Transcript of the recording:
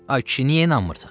Ay kişi, niyə inanmırsan?